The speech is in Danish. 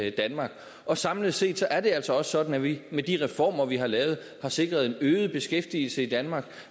i danmark og samlet set er det altså sådan at vi med de reformer vi har lavet har sikret en øget beskæftigelse i danmark